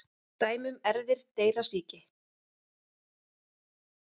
Dæmi um erfðir dreyrasýki: